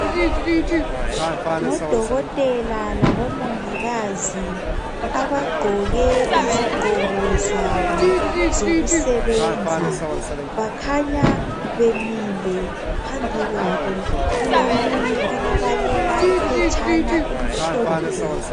Ngodokotela labomongikazi abagqoke izigqoko zabo zokusebenza bakhanya bemile phambi kwabo kulomunye obabalela iphetshana elimhlophe.